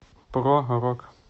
про рок